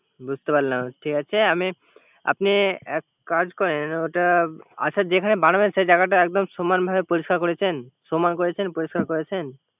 বুঝতে পারলাম। ঠিক আছে, আমি, আপনি একটা কাজ করে। ওটা আচ্ছা যেখানে বানাবেন সে জায়গাটা সমানভাবে পরিষ্কার করেছেন? সমান করছেন? পরিষ্কার করেছেন?